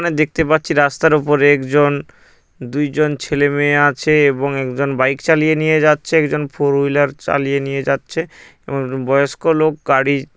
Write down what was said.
আমরা দেখতে পাচ্ছি রাস্তার উপরে একজন দুইজন ছেলে মেয়ে আছে এবং একজন বাইক চালিয়ে নিয়ে যাচ্ছে একজন ফোর হুইলার চালিয়ে নিয়ে যাচ্ছে এবং বয়স্ক লোক গাড়ি।